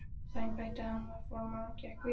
Á þeim báti var hann formaður og gekk vel.